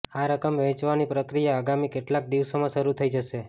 આ રકમ વહેંચવાની પ્રક્રિયા આગામી કેટલાક દિવસોમાં શરૂ થઈ જશે